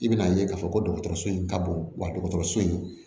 I bɛn'a ye k'a fɔ ko dɔgɔtɔrɔso in ka bon wa dɔgɔtɔrɔso in